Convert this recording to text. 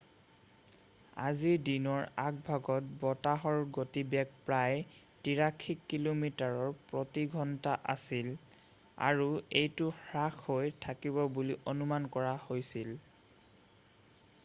আজি দিনৰ আগভাগত বতাহৰ গতিবেগ প্ৰায় 83 কিলোমিটাৰ প্ৰতি ঘণ্টা আছিল আৰু এইটো হ্ৰাস হৈ থাকিব বুলি অনুমান কৰা হৈছিল